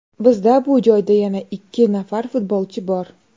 Bizda bu joyda yana ikki nafar futbolchi bor.